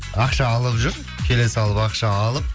ақша алып жүр келе салып ақша алып